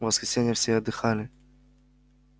в воскресенье все отдыхали